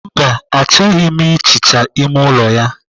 Mba, achọghị m ihicha ime ụlọ ya.